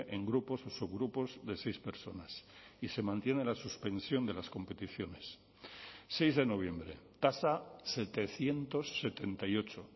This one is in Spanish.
en grupos o subgrupos de seis personas y se mantiene la suspensión de las competiciones seis de noviembre tasa setecientos setenta y ocho